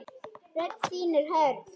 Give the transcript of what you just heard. Rödd þín er hörð.